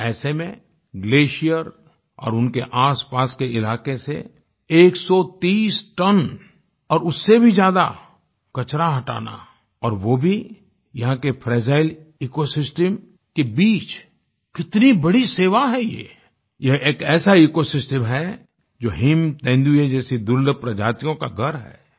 ऐसे में ग्लेसियर और उनके आसपास के इलाके से 130 टन और उससे भी ज्यादा कचरा हटाना और वो भी यहाँ के फ्रेजाइल इकोसिस्टम के बीच कितनी बड़ी सेवा है ये यह एक ऐसा इकोसिस्टम है जो हिम तेंदुए जैसी दुर्लभ प्रजातियों का घर है